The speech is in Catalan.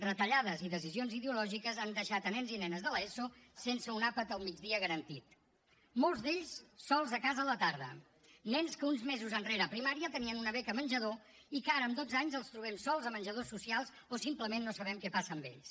retallades i decisions ideològiques han deixat nens i nenes de l’eso sense un àpat al migdia garantit molts d’ells sols a casa a la tarda nens que uns mesos enrere a primària tenien una beca menjador i que ara amb dotze anys els trobem sols a menjadors socials o simplement no sabem què passa amb ells